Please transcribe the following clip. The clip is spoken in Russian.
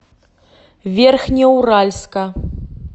верхнеуральска